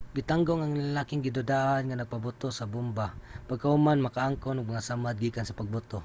gitanggong ang lalaki nga gidudahan nga nagpaboto sa bomba pagkahuman makaangkon og mga samad gikan sa pagbuto